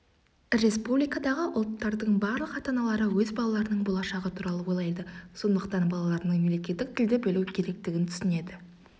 республикадағы ұлттардың барлық ата-аналары өз балаларының болашағы туралы ойлайды сондықтан балаларының мемлекеттік тілді білу керектігін түсінеді